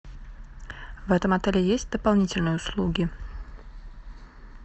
в этом отеле есть дополнительные услуги